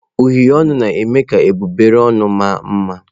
Uhie ọnụ na-eme ka egbugbere ọnụ maa mma.